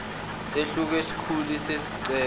sahluko isikhulu sezicelo